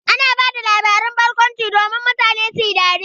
Ana ba da labaran barkwanci domin mutane su yi dariya.